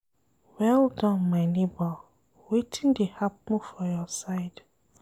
Well done my nebor, wetin dey happen for your side?